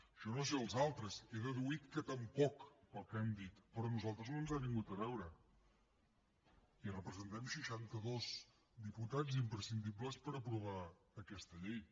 jo no sé els altres he deduït que tampoc pel que han dit però a nosaltres no ens ha vingut a veure i representem seixanta dos diputats imprescindibles per aprovar aquesta llei